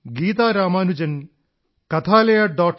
Gita Ramanujan kathalaya